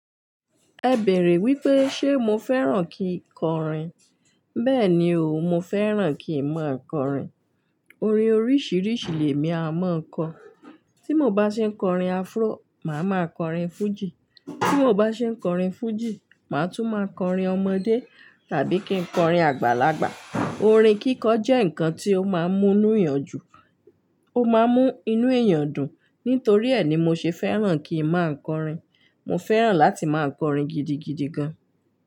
Ẹ bèèrè wípé ṣe mo fẹ́ràn kí ń kọrin. Bẹ́ẹ̀ni o, mo fẹ́ràn kí màá kọrin. Orin oríṣìíríṣìí lè mi a máa kọ. Tí mo bá ṣe ń kọrin afro, màá máa kọrin fújì. Tí mo bá ṣe ń kọrin fújì, màá tún máa kọrin ọmọdé tàbí kí ń kọrin àgbàlagbà. Orin kíkọ jẹ́ nǹkan tí ó máa ń mú inú èèyàn jùn ó máa ń mú inú èèyàn dùn. Nítorí ẹ ni mo ṣe fẹ́ràn kí màá kọrin. Mo fẹ́ràn láti máa kọrin gidigidi gan.